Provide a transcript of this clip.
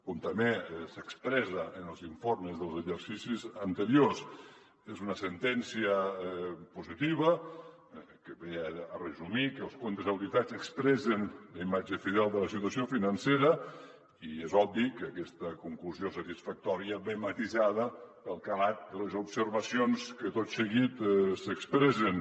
com també s’expressa en els informes dels exercicis anteriors és una sentència positiva que resumeix que els comptes auditats expressen la imatge fidel de la situació financera i és obvi que aquesta conclusió satisfactòria ve matisada pel calat de les observacions que tot seguit s’expressen